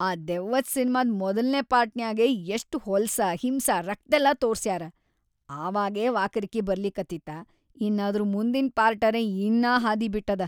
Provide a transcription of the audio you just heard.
ಆ ದೆವ್ವದ್‌ ಸಿನ್ಮಾದ್ ಮೊದಲ್ನೇ ಪಾರ್ಟನ್ಯಾಗೇ ಎಷ್ಟ ಹೊಲ್ಸ ಹಿಂಸಾ ರಕ್ತೆಲ್ಲಾ ತೋರ್ಸ್ಯಾರ‌, ಆವಾಗೇ ವಾಕರಕಿ ಬರ್ಲಿಕತ್ತಿತ್ತಾ ಇನ್‌ ಅದ್ರ ಮುಂದಿನ್‌ ಪಾರ್ಟರೇ ಇನ್ನಾ ಹಾದಿಬಿಟ್ಟದ.